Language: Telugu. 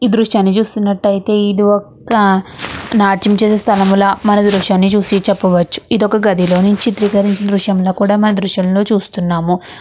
ఈ దృశ్యాన్ని చూస్తుంటాయితే ఇది ఒక్క నాట్యం చేసే స్థలం లా మనం ఈ దృశ్యాన్ని చూసి చెప్పవచు. ఇది ఒక గదిలోనుంచి చిత్రీకరించిన దృశ్యంలా కూడా ఈ దృశ్యంలా చూస్తున్నాము.